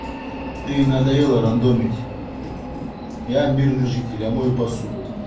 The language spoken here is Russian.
ты надоела рандомить я мирный житель я мою посуду